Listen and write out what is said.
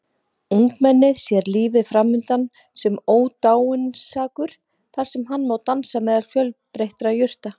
Ungmennið sér lífið framundan sem ódáinsakur þar sem hann má dansa meðal fjölbreyttra jurta.